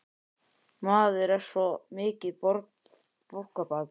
Maður er svo mikið borgarbarn í sér.